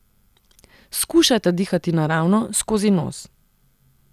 Skušajta dihati naravno, skozi nos.